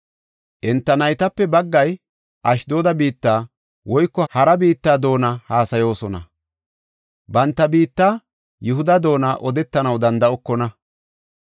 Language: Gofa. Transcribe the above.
Enta naytape baggay Ashdooda biitta woyko hara biitta doona haasayoosona; banta biitta, Yihuda doona odetanaw danda7okona.